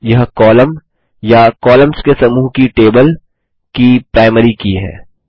यह कॉलम या कॉलम्स के समूह को टेबल की प्राइमरी की है